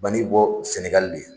bɔ Sɛnɛgali de